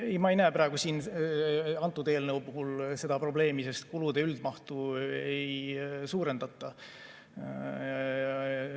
Ei, ma ei näe praegu siin antud eelnõu puhul probleemi, sest kulude üldmahtu ei suurendata.